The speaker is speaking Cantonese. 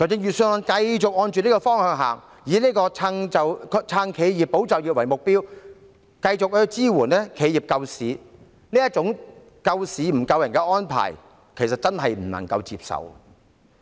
預算案繼續朝這個方向走，以"撐企業、保就業"為目標，繼續支援企業救市，這種救市不救人的安排，真的不能夠接受。